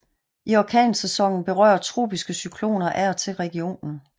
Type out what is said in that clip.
I orkansæsonen berører tropiske cykloner af og til regionen